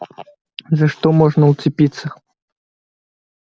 за что можно уцепиться